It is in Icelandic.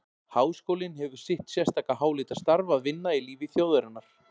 Háskólinn hefir sitt sérstaka háleita starf að vinna í lífi þjóðarinnar.